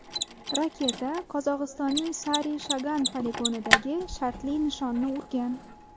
Raketa Qozog‘istonning Sari-Shagan poligonidagi shartli nishonni urgan.